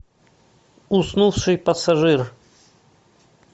уснувший пассажир